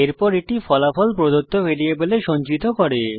এরপর এটি ফলাফল প্রদত্ত ভ্যারিয়েবলে সঞ্চিত করে